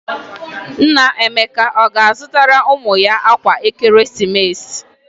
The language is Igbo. Nna Emeka ọ ga-azụtara ụmụ ya akwa ekeresimesi?